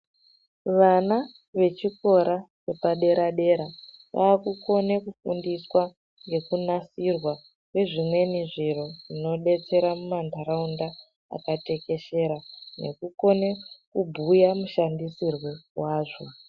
Vana vechikora vepa dera dera vakukone kufundiswa nekunasirwa kwezvimweni zviro zvino detsera mu ma ntaraunda akateshera eku kone kubhuya mushandisirwo wazvo.